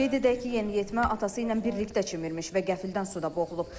Qeyd edək ki, yeniyetmə atası ilə birlikdə çimirmiş və qəflətən suda boğulub.